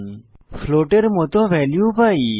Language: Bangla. আমরা ফ্লোটের মত ভ্যালু পাই